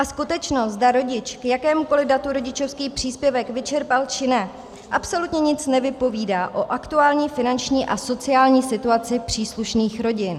A skutečnost, zda rodič k jakémukoliv datu rodičovský příspěvek vyčerpal, či ne, absolutně nic nevypovídá o aktuální finanční a sociální situaci příslušných rodin.